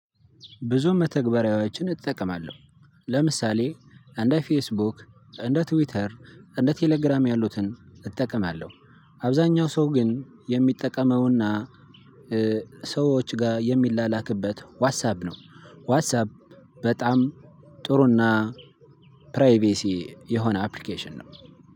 ብዙ መተግበሪያዎችን እጠቀማለሁ ለምሳሌ እንደ ፌስቡክ፣ እንደ ትዊተር፣ እንደ ቴሌግራም ያሉትን እጠቀማለሁ። አብዛኛው ሰው ግን የሚጠቀመው እና ሰዎች ጋር የሚላላክበት ዋትሳብ ነው። ዋትሳብ በጣም ጥሩ እና ፕራይቬሲ የሆነ አፕሊኬሽን ነው።